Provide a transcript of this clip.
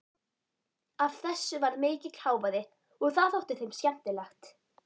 Af þessu varð mikill hávaði og það þótti þeim skemmtilegt.